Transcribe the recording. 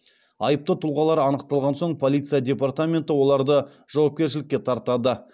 айыпты тұлғалар анықталған соң полиция департаменті оларды жауапкершілікке тартады